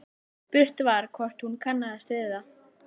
Spurt var hvort hún kannaðist við það?